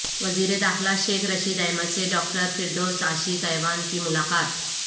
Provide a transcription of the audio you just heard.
وزیر داخلہ شیخ رشید احمد سے ڈاکٹر فردوس عاشق اعوان کی ملاقات